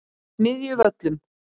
Smiðjuvöllum